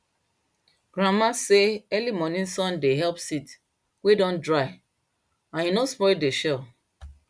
grandma say early morning sun dey help seeds wey don dry and e no spoil dey shell